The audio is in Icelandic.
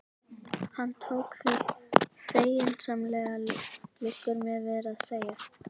Hann tók því feginsamlega, liggur mér við að segja.